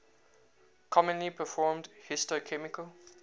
commonly performed histochemical